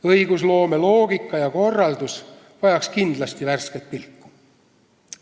Õigusloome loogika ja korraldus vajaks kindlasti värsket pilku.